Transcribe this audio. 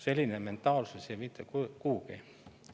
Selline mentaalsus ei vii mitte kuhugi.